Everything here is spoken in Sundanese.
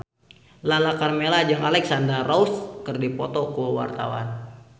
Lala Karmela jeung Alexandra Roach keur dipoto ku wartawan